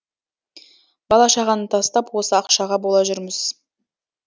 бала шағаны тастап осы ақшаға бола жүрміз